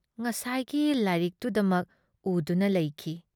ꯉꯁꯥꯏꯒꯤ ꯂꯥꯏꯔꯤꯛꯇꯨꯗꯃꯛ ꯎꯗꯨꯅ ꯂꯩꯈꯤ ꯫